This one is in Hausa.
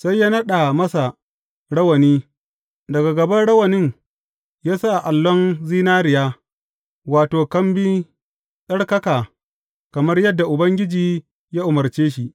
Sai ya naɗa masa rawani, daga gaban rawanin ya sa allon zinariya, wato, kambi tsattsarka, kamar yadda Ubangiji ya umarce shi.